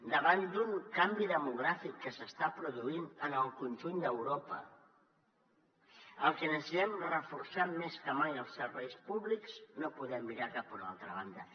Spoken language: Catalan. davant d’un canvi demogràfic que s’està produint en el conjunt d’europa el que necessitem reforçar més que mai són els serveis públics no podem mirar cap a una altra banda